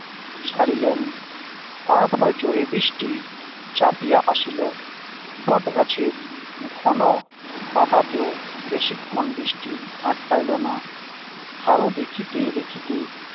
ছাড়িলেন তারপর জোরে বৃষ্টি চাপিয়া আসিল বটগাছের ঘন পাতাতেও বেশিক্ষণ বৃষ্টি আটকাইলো না হারু দেখিতে দেখিতে